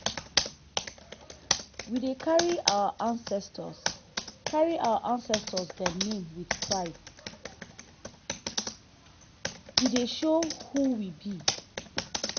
we dey carry our ancestor carry our ancestor dem name wit pride e dey show who we be.